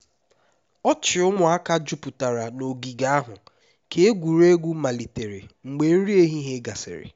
ọchị ụmụaka jupụtara n'ogige ahụ ka egwuregwu malitere mgbe nri ehihie gasịrị